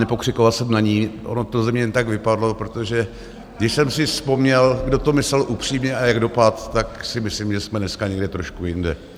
Nepokřikoval jsem na ni, ono to ze mě jen tak vypadlo, protože když jsem si vzpomněl, kdo to myslel upřímně a jak dopadl, tak si myslím, že jsme dneska někde trošku jinde.